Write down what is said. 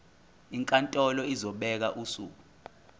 inkantolo izobeka usuku